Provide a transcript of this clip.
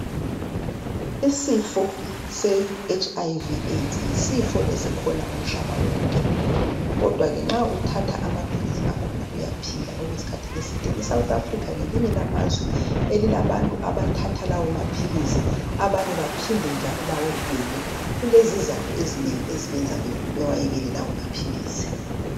Isifo se HIV AIDS yisifo esikhona umhlaba wonke kodwa ke nxa uthatha amaphilisi akhona uyaphila okwesikhathi eside iSouth Africa ngelinye lamazwe elilabantu abathatha lawo maphilisi abanye njalo abanye abantu bamphinde bewayekele kulezizatho ezinengi ezenza bewayekele lawo maphilisi.